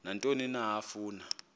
nantoni na afuna